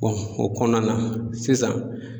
o kɔnɔna na sisan.